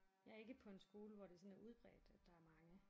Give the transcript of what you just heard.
Jeg er ikke på en skole hvor det sådan er udbredt at der er mange